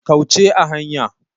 Kauce a hanya.